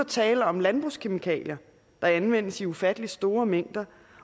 tale om landbrugskemikalier der anvendes i ufattelig store mængder